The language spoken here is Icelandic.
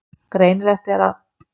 Greinilegt er að